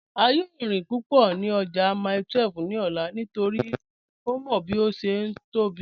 A yòò rín púpọ́ ní ọ̀jà Mile 12 ní òlà nítorí ó mọ́ bí ó ṣé tó bí to.